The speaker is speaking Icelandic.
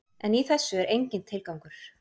En í þessu er enginn tilgangur.